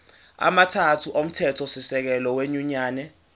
amathathu omthethosisekelo wenyunyane